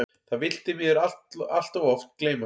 Það vill því miður allt of oft gleymast.